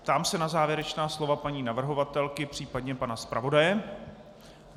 Ptám se na závěrečná slova paní navrhovatelky, případně pana zpravodaje.